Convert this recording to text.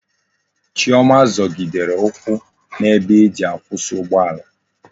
Chioma zogidere ukwu na ebe eji akwusi ugbo ala